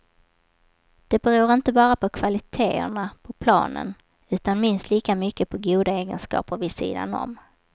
Det beror inte bara på kvaliteterna på planen, utan minst lika mycket på goda egenskaper vid sidan om.